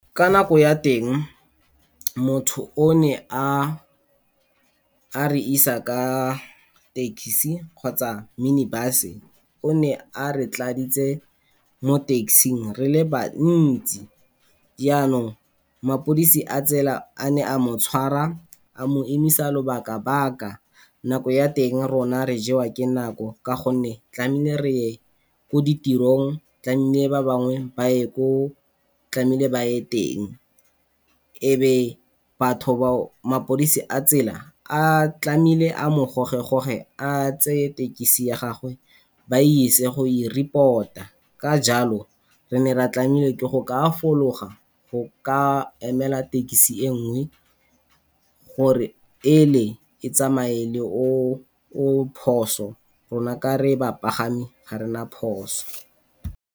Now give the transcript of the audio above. Ka nako ya teng motho o ne a, a re isa ka taxi kgotsa mini bus o ne a re tladitse mo taxi-ng re le bantsi. Jaanong mapodisi a tsela a ne a mo tshwara a mo emisa lobaka-baka, nako ya teng rona re jewa ke nako ka gonne tlamehile re ye ko ditirong, tlamehile ba bangwe ba ye ko tlamehile ba ye teng. E be batho mapodisi a tsela a tlamehile a mo goge-goge, a tseye tekesi ya gagwe ba ise go i-report-a. Ka jalo re ne ra tlamehile ke go ka a fologa go ka emela tekesi e nngwe gore e le e tsamaye le o o phoso, rona ka re bapagami ga rena phoso.